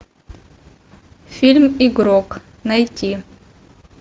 фильм игрок найти